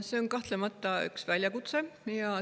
See on kahtlemata väljakutse.